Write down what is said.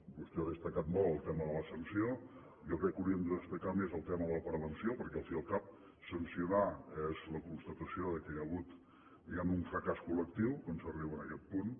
vostè ha destacat molt el tema de la sanció jo crec que hauríem de destacar més el tema de la prevenció perquè al fi i al cap sancionar és la constatació que hi ha hagut diguem ne un fracàs col·lectiu quan s’arriba en aquest punt